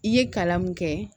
I ye kalan mun kɛ